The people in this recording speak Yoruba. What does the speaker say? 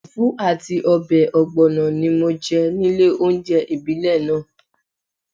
Fùfú àti ọbẹ̀ ọ̀gbọ̀nọ̀ ni mo jẹ nílé oúnjẹ ìbílẹ̀ náà